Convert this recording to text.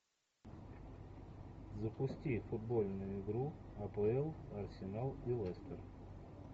запусти футбольную игру апл арсенал и лестер